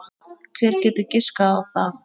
Hver getur giskað á það?